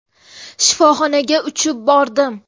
Shifoxonaga uchib bordim.